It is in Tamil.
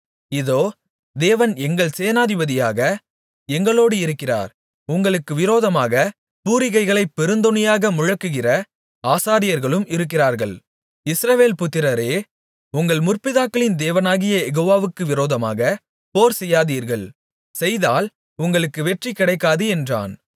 இதோ தேவன் எங்கள் சேனாபதியாக எங்களோடு இருக்கிறார் உங்களுக்கு விரோதமாகப் பூரிகைகளைப் பெருந்தொனியாக முழக்குகிற ஆசாரியர்களும் இருக்கிறார்கள் இஸ்ரவேல் புத்திரரே உங்கள் முற்பிதாக்களின் தேவனாகிய யெகோவாவுக்கு விரோதமாக போர்செய்யாதீர்கள் செய்தால் உங்களுக்கு வெற்றி கிடைக்காது என்றான்